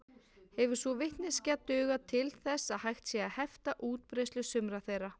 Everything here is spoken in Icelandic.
Hefur sú vitneskja dugað til þess að hægt sé að hefta útbreiðslu sumra þeirra.